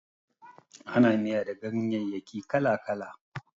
Ana miya da ganyayyaki kala-kala.